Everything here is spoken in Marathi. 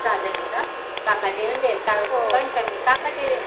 सहा जण आहेत का काकांचे काकांचे